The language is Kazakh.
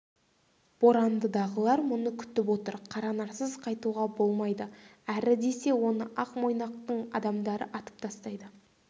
борандыдағылар мұны күтіп отыр қаранарсыз қайтуға болмайды әрі десе оны ақ мойнақтың адамдары атып тастайды